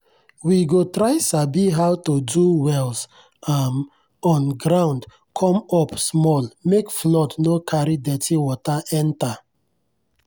we go try sabi how to do wells um on ground come up small make flood no carry dirty water enter.